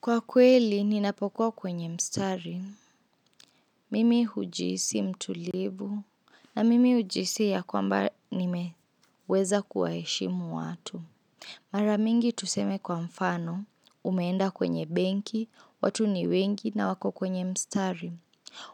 Kwa kweli, ninapokuwa kwenye mstari. Mimi hujisi mtulivu na mimi hujisi ya kwamba nimeweza kuwaeshimu watu. Mara mingi tuseme kwa mfano, umeenda kwenye benki, watu ni wengi na wako kwenye mstari.